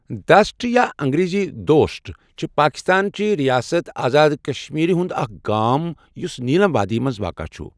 دٔسَٹ یا انگریزی دوسٹ چھ پاکستانچہ رِیاست آزاد کشمیرِ ہُنٛد اَکھ گام یُس نیٖلم وٲدی مَنٛز واقع چُھ